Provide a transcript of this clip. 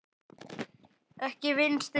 Ekki Vinstri græn.